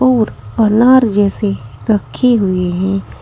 और अनार जैसे रखे हुए हैं।